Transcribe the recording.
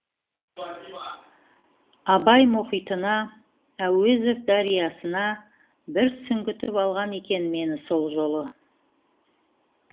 абай мұхитына әуезов дариясына бір сүңгітіп алған екен мені сол жолы